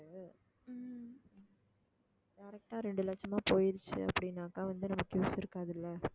direct ஆ ரெண்டு லட்சமா போயிருச்சு அப்படின்னாக்கா வந்து நமக்கு use இருக்காதுல்ல